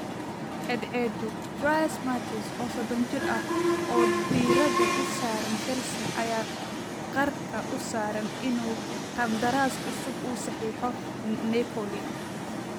(Caadcedu) Dries Mertens, oo soodon jir ah, oo diirada u saaran Chelsea, ayaa qarka u saaran inuu qandaraas cusub u saxiixo Napoli.